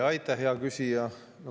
Aitäh, hea küsija!